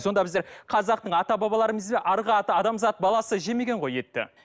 сонда біздер қазақтың ата арғы ата адамзат баласы жемеген ғой етті